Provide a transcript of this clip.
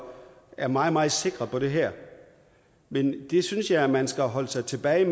er meget meget sikre på det her men det synes jeg man skal holde sig tilbage